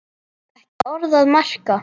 Ekki orð að marka.